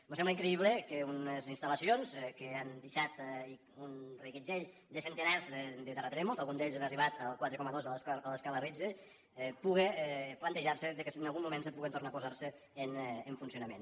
mos sembla increïble que unes instal·lacions que han deixat un reguitzell de centenars de terratrèmols al·gun d’ells han arribat al quatre coma dos de l’escala de richter pugui plantejar·se que si en algun moment se puguin tornar a posar en funcionament